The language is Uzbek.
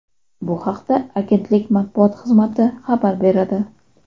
Bu haqda agentlik matbuot xizmati xabar beradi .